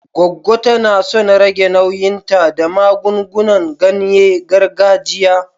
Goggo ta na son rage nauyinta da magungunan ganye gargajiya.